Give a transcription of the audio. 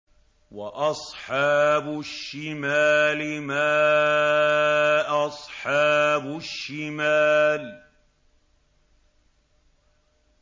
وَأَصْحَابُ الشِّمَالِ مَا أَصْحَابُ الشِّمَالِ